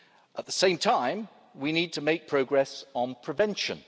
At the same time, we need to make progress on prevention.